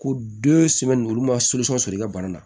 Ko den sɛmɛnnin olu ma sɔrɔ i ka bana na